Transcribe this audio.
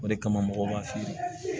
O de kama mɔgɔw b'a feere